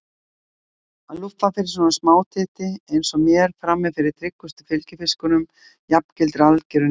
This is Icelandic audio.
Að lúffa fyrir svona smátitti eins og mér frammi fyrir tryggustu fylgifiskunum jafngilti algerri niðurlægingu.